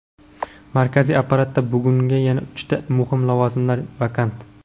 Markaziy apparatda bugun yana uchta muhim lavozimlar vakant.